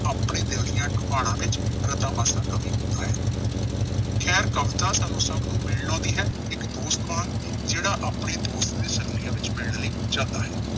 ਆਪਣੇ ਦਿਲ ਦੀਆਂ ਡੂੰਘਾਣਾਂ ਵਿੱਚ ਰਤਾ-ਮਾਸਾ ਕਵੀ ਹੁੰਦਾ ਹੈ। ਖੈਰ ਕਵਿਤਾ ਸਾਨੂੰ ਸਭ ਨੂੰ ਮਿਲਣ ਲਾਉਂਦੀ ਹੈ, ਇੱਕ ਦੋਸਤ ਵਾਂਗ। ਜਿਹੜਾ ਆਪਣੇ ਦੋਸਤ ਦੀ ਵਿੱਚ ਮਿਲਣ ਲਈ ਜਾਂਦਾ ਹੈ।